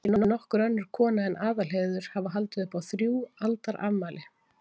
Skyldi nokkur önnur kona en Aðalheiður hafa haldið upp á þrjú aldarafmæli?